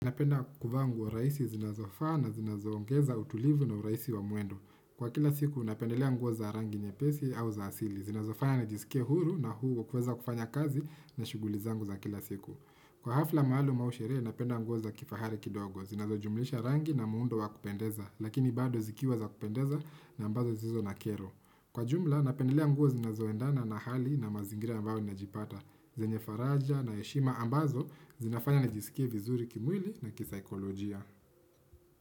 Napenda kuvaa nguo rahisi zinazofaa na zinazoongeza utulivu na urahisi wa mwendo. Kwa kila siku, napendelea nguo za rangi nyepesi au za asili. Zinazofanya njisikie huru na uhuru wa kuweza kufanya kazi na shughuli zangu za kila siku. Kwa hafla maalum au sherehe, napenda nguo za kifahari kidogo. Zinazo jumlisha rangi na muundo wa kupendeza, lakini bado zikiwa za kupendeza na ambazo zilizo na kero. Kwa jumla, napendelea nguo zinazoendana na hali na mazingira ambayo ninajipata. Zenye faraja na heshima ambazo zinafanya nijisikie vizuri kimwili na kisaikolojia.